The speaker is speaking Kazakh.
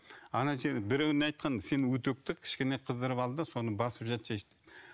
ана жерін біреуіне айтқан сен үтікті кішкене қыздырып ал да соны басып жатсайшы деп